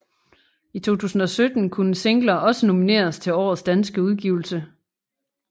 I 2017 kunne singler også nomineres til Årets danske udgivelse